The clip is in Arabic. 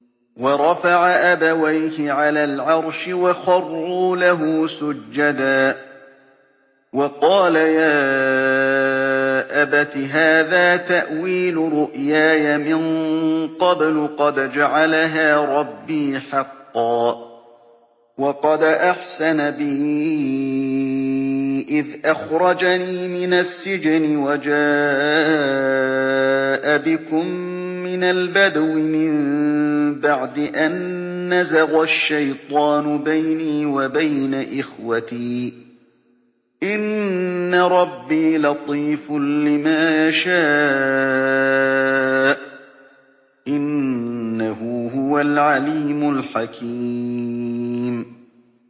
وَرَفَعَ أَبَوَيْهِ عَلَى الْعَرْشِ وَخَرُّوا لَهُ سُجَّدًا ۖ وَقَالَ يَا أَبَتِ هَٰذَا تَأْوِيلُ رُؤْيَايَ مِن قَبْلُ قَدْ جَعَلَهَا رَبِّي حَقًّا ۖ وَقَدْ أَحْسَنَ بِي إِذْ أَخْرَجَنِي مِنَ السِّجْنِ وَجَاءَ بِكُم مِّنَ الْبَدْوِ مِن بَعْدِ أَن نَّزَغَ الشَّيْطَانُ بَيْنِي وَبَيْنَ إِخْوَتِي ۚ إِنَّ رَبِّي لَطِيفٌ لِّمَا يَشَاءُ ۚ إِنَّهُ هُوَ الْعَلِيمُ الْحَكِيمُ